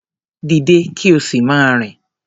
Dìde kí o sì máa rìn.